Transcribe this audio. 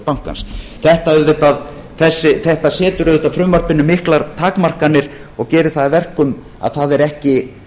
bankans þetta setur auðvitað frumvarpinu miklar takmarkanir og gerir það að verkum að það er ekki